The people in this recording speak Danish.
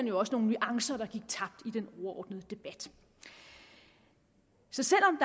jo også nogle nuancer der gik tabt i den overordnede debat så selv om